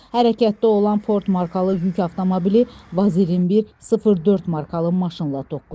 Hərəkətdə olan Ford markalı yük avtomobili Vaz 2104 markalı maşınla toqquşub.